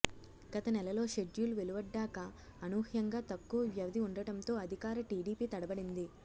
గతనెలలో schedule వెలువడ్డాక అనూహ్యంగా తక్కువ వ్యవధి ఉండటంతో అధికార టీడీపీ తడబడింది